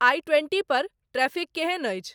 आई twenty पर traffic केहन अछि